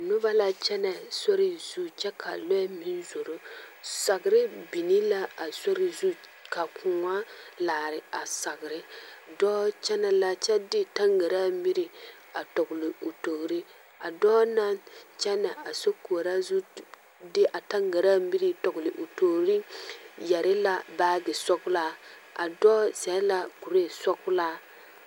Noba la kyɛnɛ sori zu kyɛ ka lɔɛ meŋ zoro sagre biŋ la a sori zu ka kõɔ laare a sagre dɔɔ kyɛnɛ la kyɛ de taŋgaraa miri a tɔgle o toori a dɔɔ kyɛnɛ a sokoɔraa zu de a taŋgaraa miri tɔgle o toori yɛre la baagi sɔglaa a dɔɔ zɛle la kuree sɔglaa.